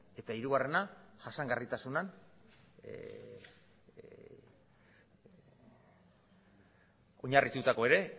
eta hirugarrena jasangarritasunean oinarritutakoa ere